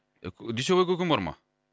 дүйсебай көкем бар ма